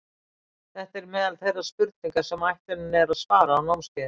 Þetta eru meðal þeirra spurninga sem ætlunin er að svara á námskeiðinu.